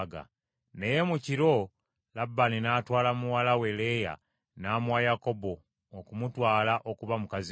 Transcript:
Naye mu kiro Labbaani n’atwala muwala we Leeya n’amuwa Yakobo okumutwala okuba mukazi we.